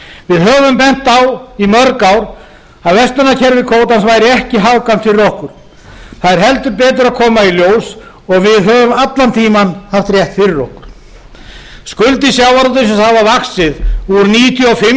við höfum bent á í mörg ár að verslunarkerfi kvótans væri ekki hagkvæmt fyrir okkur það er heldur betur að koma í ljós og við höfum allan tímann haft rétt fyrir okkur skuldir sjávarútvegsins hafa vaxið úr níutíu og fimm milljörðum árið nítján